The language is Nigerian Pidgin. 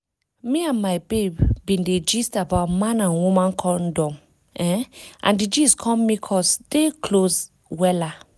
me and my babe been dey gist about man and woman condom[um]and di gist come make us dey close wella